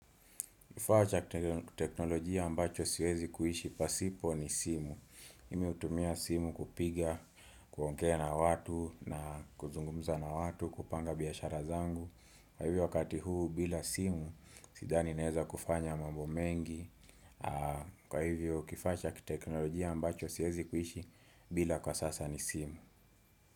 Kifaa cha kiteknolojia ambacho siwezi kuhishi pasipo ni simu. Mimi utumia simu kupiga, kuongea na watu na kuzungumza na watu, kupanga biyashara zangu. Kwa hivyo wakati huu bila simu, sidhani naeza kufanya mambo mengi. Kwa hivyo kifaa cha kiteknolojia ambacho siwezi kuhishi bila kwa sasa ni simu.